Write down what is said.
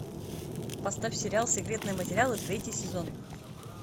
поставь сериал секретные материалы третий сезон